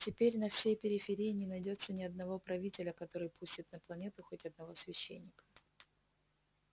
теперь на всей периферии не найдётся ни одного правителя который пустит на планету хоть одного священника